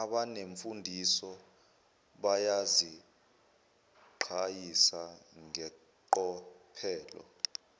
abanemfundiso bayaziqhayisa ngeqophelo